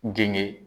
Genge